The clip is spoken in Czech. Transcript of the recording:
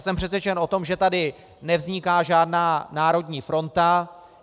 Jsem přesvědčen o tom, že tady nevzniká žádná národní fronta.